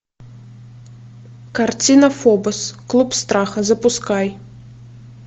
картина фобос клуб страха запускай